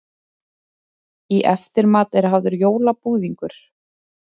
Í eftirmat er hafður jólabúðingur.